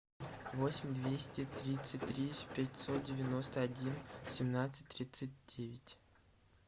восемь двести тридцать три пятьсот девяносто один семнадцать тридцать девять